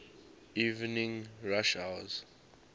evening rush hours